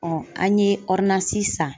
an ye san